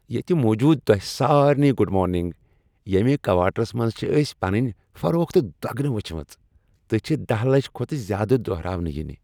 ییٚتہِ موٗجوٗد تۄہہِ سارِنٕے گُڈ مارننگ ییٚمہِ کوارٹرَس منٛز چھِ أسۍ پنٕنۍ فروخت دۄگنہٕ وٕچھمٕژ تہٕ چھِ دہَ لَچھ کھۄتہٕ زِیٛادٕ دُہراونہٕ یِنہٕ